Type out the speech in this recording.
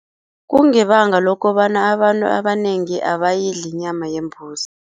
Kungebanga lokobana abantu abanengi abayidli inyama yembuzi.